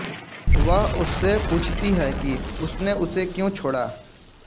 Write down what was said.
वह उससे पूछती है कि उसने उसे क्यों छोड़ा